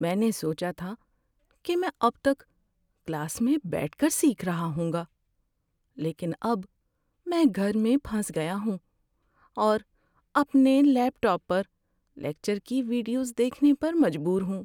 میں نے سوچا تھا کہ میں اب تک کلاس میں بیٹھ کر سیکھ رہا ہوں گا، لیکن اب میں گھر میں پھنس گیا ہوں اور اپنے لیپ ٹاپ پر لیکچر کی ویڈیوز دیکھنے پر مجبور ہوں۔